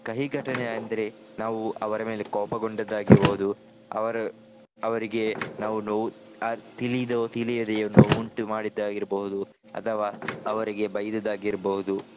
ಕಹಿಘಟನೆ ಅಂದ್ರೆ ನಾವು ಅವರ ಮೇಲೆ ಕೋಪಗೊಂಡದ್ದು ಆಗಿರ್ಬಹುದು. ಅವರು ಅವರಿಗೆ ನಾವು ನೋವು ಆ ತಿಳಿದು ತಿಳಿಯದೆಯೋ ನೋವುಂಟು ಮಾಡಿದ್ದಾಗಿರ್ಬೋದು. ಅಥವಾ ಅವರಿಗೆ ಬೈದದ್ದು ಆಗಿರ್ಬಹುದು.